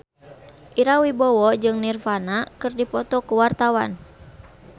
Ira Wibowo jeung Nirvana keur dipoto ku wartawan